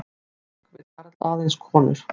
Dogg vill aðeins konur